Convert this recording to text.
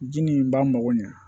Ji nin ba mago ɲɛ